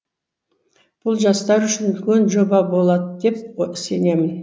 бұл жастар үшін үлкен жоба болады деп сенемін